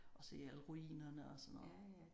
Og se alle ruinerne og sådan noget